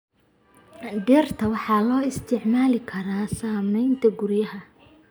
Dhirta waxaa loo isticmaali karaa samaynta guryaha.